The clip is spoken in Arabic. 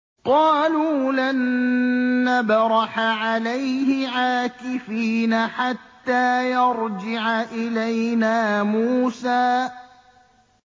قَالُوا لَن نَّبْرَحَ عَلَيْهِ عَاكِفِينَ حَتَّىٰ يَرْجِعَ إِلَيْنَا مُوسَىٰ